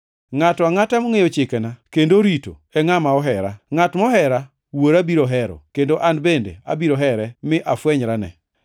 Ngʼato angʼata mongʼeyo chikena kendo orito, e ngʼama ohera. Ngʼat mohera, Wuora biro hero, kendo an bende abiro here, mi afwenyrane.”